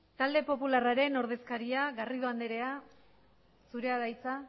talde popularraren ordezkaria garrido andrea zurea da hitza